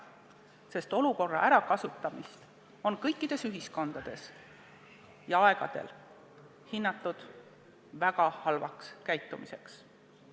Ja olukorra ärakasutamist on kõikides ühiskondades ja kõikidel aegadel peetud väga halvaks käitumiseks.